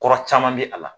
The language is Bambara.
Kɔrɔ caman bɛ a la